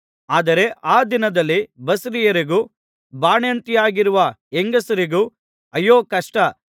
ಆದರೆ ಆ ದಿನದಲ್ಲಿ ಬಸುರಿಯರಿಗೂ ಬಾಣಂತಿಯರಾಗಿರುವ ಹೆಂಗಸರಿಗೂ ಅಯ್ಯೋ ಕಷ್ಟ